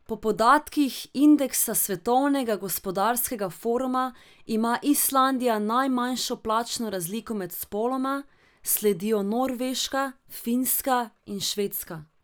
Po podatkih indeksa Svetovnega gospodarskega foruma ima Islandija najmanjšo plačno razliko med spoloma, sledijo Norveška, Finska in Švedska.